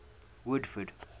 woodford